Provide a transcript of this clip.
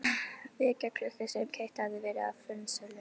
vekjaraklukku sem keypt hafði verið á fornsölu.